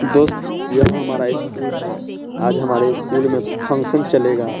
दोस्त यह हमारा स्कूल है आज हमारे स्कूल में फंक्शन चलेगा।